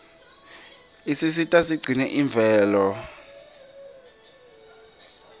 isisita sigcine imvelo